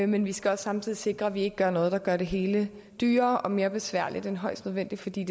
men vi skal også samtidig sikre at vi ikke gør noget der gør det hele dyrere og mere besværligt end højst nødvendigt fordi